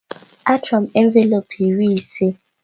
Achọrọ m envelopu iri ise.